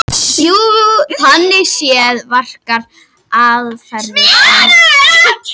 Þannig séð verkar aðferðin án undantekningar.